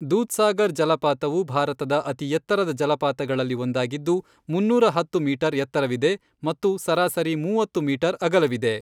ದೂಧ್ಸಾಗರ್ ಜಲಪಾತವು ಭಾರತದ ಅತಿ ಎತ್ತರದ ಜಲಪಾತಗಳಲ್ಲಿ ಒಂದಾಗಿದ್ದು, ಮುನ್ನೂರ ಹತ್ತು ಮೀಟರ್ ಎತ್ತರವಿದೆ ಮತ್ತು ಸರಾಸರಿ ಮೂವತ್ತು ಮೀಟರ್ ಅಗಲವಿದೆ.